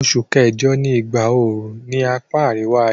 Osù kẹ́jọ ni ìgbà oru ni apá àríwá-ayé